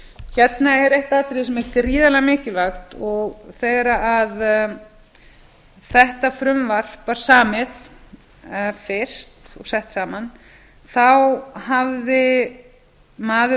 hérna er eitt atriði sem er gríðarlega mikilvægt og þegar þetta frumvarp var samið fyrst og sett saman hafði maður